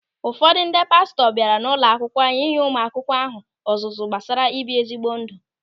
Ụfọdụ ndị pastọ bịara n'ụlọakwukwo anyị inye ụmụ akwụkwọ ahụ ọzụzụ gbasara ibi ezi ndụ.